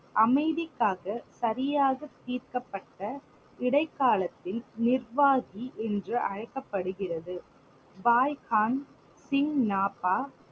அமைதிக்காக சரியாக தீர்க்கப்பட்ட இடைக்காலத்தில் நிர்வாகி என்று அழைக்கப்படுகிறது. பாய்கான், சிங்னாபா